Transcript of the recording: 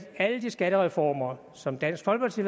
alle de skattereformer som dansk folkeparti